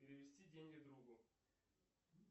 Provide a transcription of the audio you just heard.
перевести деньги другу